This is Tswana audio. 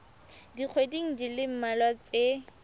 dikgweding di le mmalwa tse